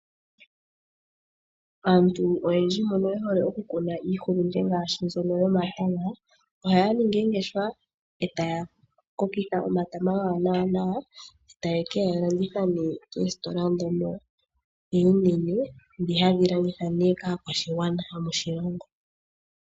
Aantu oyendji mbono ye hole oku kuna iihulunde ngaashi mbyono yomatama ohaya ningi oongeshefa eta ya kokitha omatama gawo nawa e ta ye kegalanditha nee moositola ndhono unene hadhi longithwa kaakwashigwana yomoshilongo.